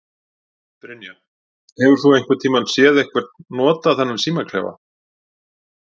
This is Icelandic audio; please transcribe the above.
Brynja: Hefur þú einhvern tíman séð einhver nota þennan símaklefa?